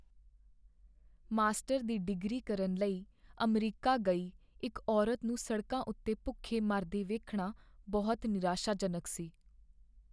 Master ਦੀ degree ਕਰਨ ਲਈ ਅਮਰੀਕਾ ਗਈ ਇੱਕ ਔਰਤ ਨੂੰ ਸੜਕਾਂ ਉੱਤੇ ਭੁੱਖੇ ਮਰਦੇ ਵੇਖਣਾ ਬਹੁਤ ਨਿਰਾਸ਼ਾਜਨਕ ਸੀ।